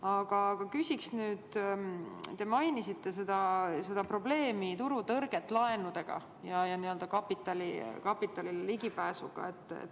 Aga küsin nüüd selle kohta, et te mainisite turutõrget laenude puhul, kapitalile ligipääsu probleemi.